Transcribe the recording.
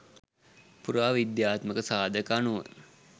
පුරා විද්‍යාත්මක සාධක අනුව